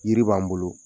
Yiri b'an bolo